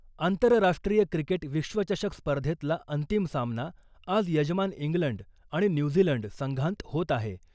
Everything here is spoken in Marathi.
आंतरराष्ट्रीय क्रिकेट विश्वचषक स्पर्धेतला अंतिम सामना आज यजमान इंग्लंड आणि न्यूझीलंड संघांत होत आहे .